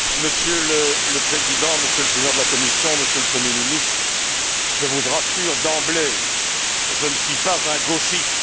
Monsieur le Président, Monsieur le Président de la Commission, Monsieur le Premier ministre, je vous rassure d'emblée, je ne suis pas un gauchiste.